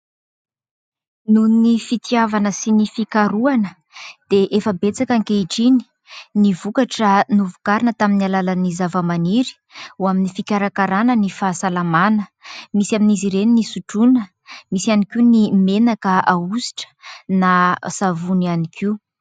Noho ny fitiavana sy ny fikarohana, dia efa betsaka ankehitriny ny vokatra novokarina tamin'ny alalan'ny zavamaniry, ho amin'ny fikarakarana ny fahasalamana. Misy amin'izy ireny ny sotroina, misy ihany koa ny menaka ahosotra, na savony ihany koa.